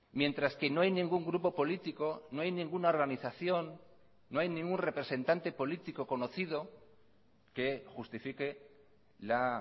mientras que no hay ningún grupo político no hay ninguna organización no hay ningún representante político conocido que justifique la